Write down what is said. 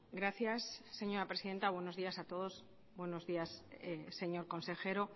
gracias señora presidenta buenos días a todos buenos días señor consejero